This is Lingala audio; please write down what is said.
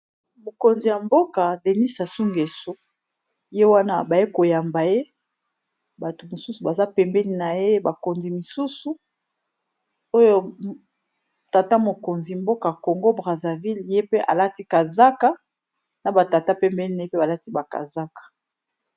Mokonzi ya mboka Denis Sassou nguesso ye wana ba ye ko yamba ye, batu mosusu baza pembeni na ye, bakonzi misusu oyo tata mokonzi mboka Congo Brazzaville ye pe a lati kazaka, na ba tata pembeni na ye, bango pe ba lati ba ba kazaka